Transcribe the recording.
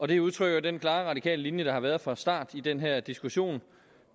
det udtrykker den klare radikale linje der har været fra starten i den her diskussion